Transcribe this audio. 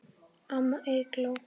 Amma Eygló.